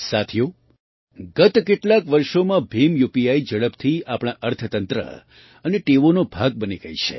સાથીઓ ગત કેટલાંક વર્ષોમાં ભીમ યુપીઆઈ ઝડપથી આપણા અર્થતંત્ર અને ટેવોનો ભાગ બની ગઈ છે